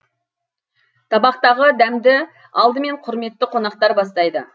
табақтағы дәмді алдымен құрметті қонақтар бастайды